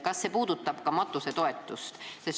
Kas see puudutab ka matusetoetust?